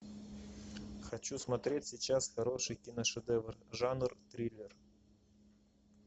хочу смотреть сейчас хороший киношедевр жанр триллер